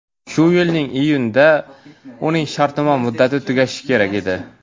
Shu yilning iyunida uning shartnoma muddati tugashi kerak edi.